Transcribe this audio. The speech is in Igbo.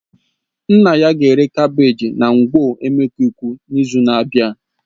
His father will sell his carbagges at ngwo emekuku next week